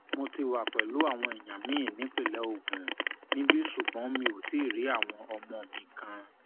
mo ti wà pẹlú àwọn èèyàn mi nípínlẹ ogun níbí ṣùgbọn mi ò tí ì rí àwọn ọmọ mi kan